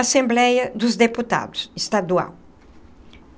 Assembleia dos Deputados Estadual.